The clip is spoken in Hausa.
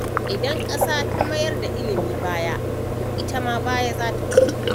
Idan ƙasa ta mayar da ilimi baya to itam baya zata koma.